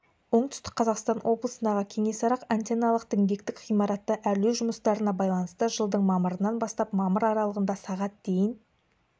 оңтүстік қазақстан облысындағы кеңесарық антенналық-діңгектік ғимаратты әрлеу жұмыстарына байланысты жылдың мамырынан бастап мамыр аралығында сағат дейін